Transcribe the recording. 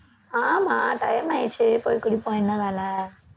ஆமா time ஆயிருச்சு போய் குடிப்போம் என்ன வேலை